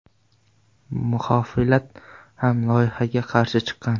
Muxolifat ham loyihaga qarshi chiqqan.